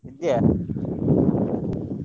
ಇದ್ದೀಯಾ?